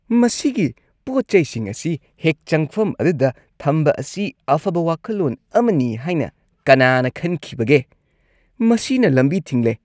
ꯃꯁꯤꯒꯤ ꯄꯣꯠ-ꯆꯩꯁꯤꯡ ꯑꯁꯤ ꯍꯦꯛ ꯆꯪꯐꯝ ꯑꯗꯨꯗ ꯊꯝꯕ ꯑꯁꯤ ꯑꯐꯕ ꯋꯥꯈꯜꯂꯣꯟ ꯑꯃꯅꯤ ꯍꯥꯏꯅ ꯀꯅꯥꯅ ꯈꯟꯈꯤꯕꯒꯦ? ꯃꯁꯤꯅ ꯂꯝꯕꯤ ꯊꯤꯡꯂꯦ꯫